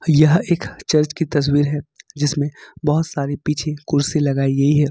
यह एक चर्च की तस्वीर है जिसमें बहुत सारी पीछे कुर्सी लगाई गई है।